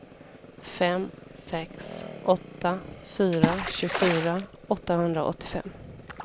fem sex åtta fyra tjugofyra åttahundraåttiofem